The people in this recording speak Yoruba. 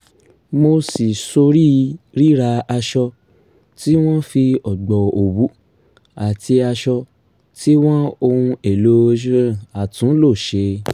mo ṣí sórí ríra aṣọ tí wọ́n fi o̩gbọ̀ òwú àti as̩o̩ tí wọ́n ohun èlò àtúnlò s̩e